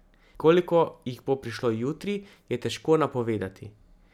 Koliko jih bo prišlo jutri, je težko napovedati.